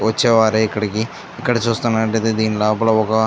వచ్చేవారు ఇక్కడికి ఇక్కడ చూస్తునట్లు అయితే దీని లోపాల ఒక --